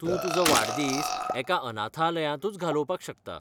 तूं तुजो वाडदीस एका अनाथालयांतूच घालोवपाक शकता.